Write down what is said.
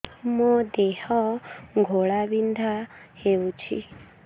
ମୋ ଦେହ ଘୋଳାବିନ୍ଧା ହେଉଛି